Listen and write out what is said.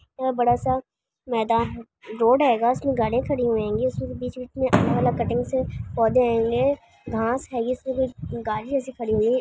यहा बड़ा सा मैदान रोड है गा। जिसमे गाड़िया खड़ी होंगी। जिसमे बीच बीच मे कटिंग से पौधे हैघास हेगे इसमे कुछ गाड़ी जैसे खड़ी हुई--